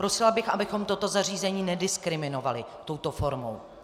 Prosila bych, abychom toto zařízení nediskriminovali touto formou.